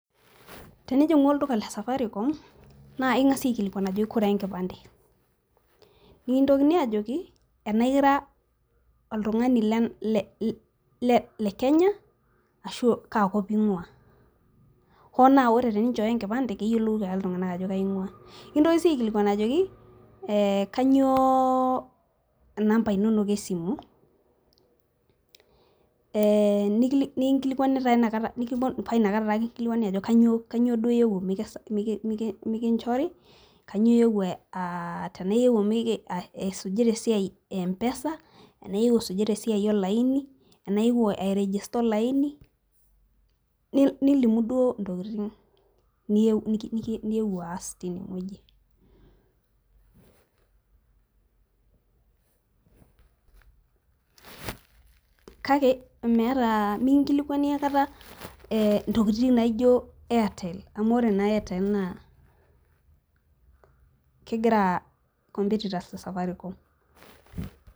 tinijing'u olduka lesafaricom, naa eking'asi aikilikuan ajo kore enkipante nikintokini ajoki tenaa ira olekenya ashu kaa kop ing'ua hoo naa ore pee ichoyo enkipande naa keyiolou ake iltung'anak, ajo kajingua nikintokini sii aikilikuan ajo kanyioo inamba inonok esimu paa inakata duoo naji inkilikuani kanyio iyewuo aas tenaa iyiwuo arigista olaini, kake mikingilikuani intokitin naijo artel, amu ore naa artel naa kompetitas osafaricom.